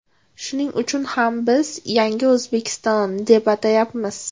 Shuning uchun ham biz Yangi O‘zbekiston, deb atayapmiz.